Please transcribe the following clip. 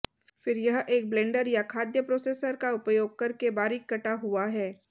फिर यह एक ब्लेंडर या खाद्य प्रोसेसर का उपयोग करके बारीक कटा हुआ है